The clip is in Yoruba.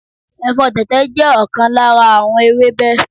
Ẹ̀fọ́ tẹ̀tẹ̀ jẹ́ ọ̀kan lára àwọn ewébẹ̀